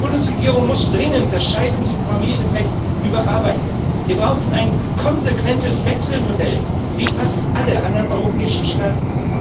Unsere Bundesregierung muss dringend das Scheidungs und Familienrecht überarbeiten. Wir brauchen ein konsequentes Wechselmodell, wie fast alle anderen europäischen Staaten.